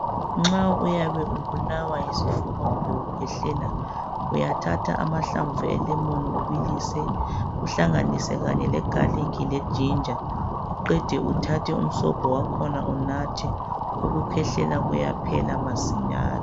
Nxa uyabe ubulawa yisifuba kumbe ukhwehlela uyathatha amahlamvu e"lemon" ubilise uhlanganise kanye le"garlic"le"ginger" uqede uthathe umsobho wakhona unathe ukukhwehlela kuyaphela masinyane.